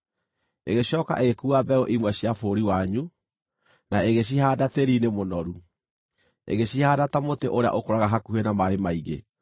“ ‘Ĩgĩcooka ĩgĩkuua mbeũ imwe cia bũrũri wanyu, na ĩgĩcihaanda tĩĩri-inĩ mũnoru. Ĩgĩcihaanda ta mũtĩ ũrĩa ũkũraga hakuhĩ na maaĩ maingĩ,